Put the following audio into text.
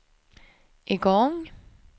igång